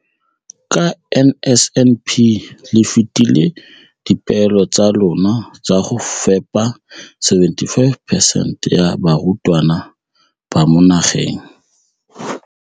Ka NSNP le fetile dipeelo tsa lona tsa go fepa masome a supa le botlhano a diperesente ya barutwana ba mo nageng.